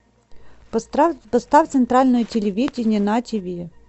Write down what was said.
поставь центральное телевидение на тв